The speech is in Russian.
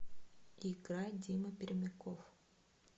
играй дима пермяков